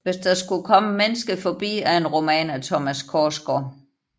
Hvis der skulle komme et menneske forbi er en roman af Thomas Korsgaard